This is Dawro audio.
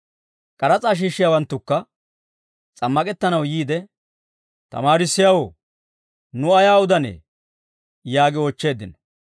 K'aras'aa shiishshiyaawanttukka s'ammak'ettanaw yiide, «Tamaarissiyaawoo, nu ayaa udanee?» yaagi oochcheeddino.